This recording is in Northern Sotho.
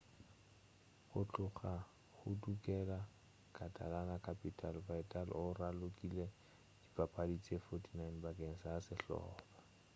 go tloga a hudugela catalan-capital vidal o ralokile dipapadi tše 49 bakeng sa sehlopa